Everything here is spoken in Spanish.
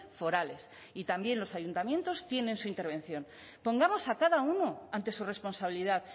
forales y también los ayuntamientos tienen su intervención pongamos a cada uno ante su responsabilidad